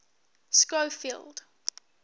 schofield